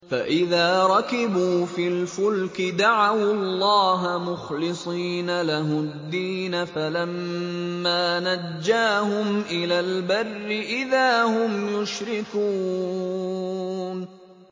فَإِذَا رَكِبُوا فِي الْفُلْكِ دَعَوُا اللَّهَ مُخْلِصِينَ لَهُ الدِّينَ فَلَمَّا نَجَّاهُمْ إِلَى الْبَرِّ إِذَا هُمْ يُشْرِكُونَ